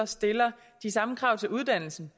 stiller de samme krav til uddannelsen